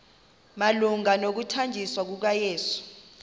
malunga nokuthanjiswa kukayesu